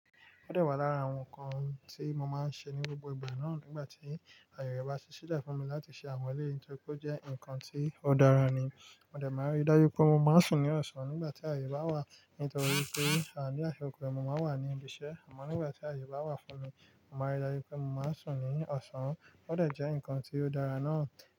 Ó dẹ̀ wà lára àwọn nǹkan tí mo máa ń ṣe ní gbogbo ìgbà náà nígbà tí àyè bá sì ṣí le fún mi láti ṣe àwon eleyii nítorí pé ó jẹ́ nǹkan tí ó dára ni. Mó dẹ̀ máa rí dájú pé mo máa ri sùn ní ọ̀sán nígbà tí àyè bá wà nítorí pé àní àyè òkè mo máa wà ní ibi iṣẹ́ àmọ́ nígbà tí àyè bá wà fún mi, mo máa rí dájú pé mo máa sùn ní ọ̀sán. Ó dẹ̀ jẹ́ nǹkan tí ó dára náà.